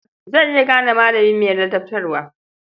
Zan iya gane malami mai ladabtarwa.